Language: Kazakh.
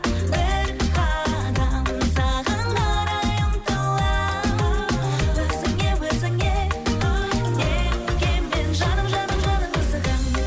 бір қадам саған қарай ұмтыламын өзіңе өзіңе неткен мен жаным жаным жаным асығамын